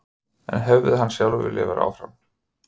En hefði hann sjálfur viljað vera áfram?